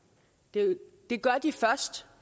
billeder det gør de først